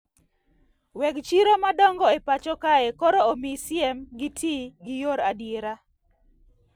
Weg chiro madongo e pacho kae koro omi siem gi tii gi yor adiera